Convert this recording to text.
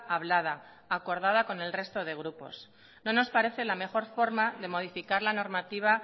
hablada acordada con el resto de grupos no nos parece la mejor forma de modificar la normativa